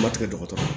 Ba tigɛ dɔgɔtɔrɔ